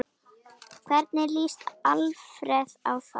Hvernig lýst Alfreð á það?